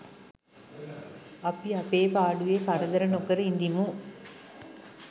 අපි අපේ පාඩුවේ කරදර නොකර ඉඳිමු.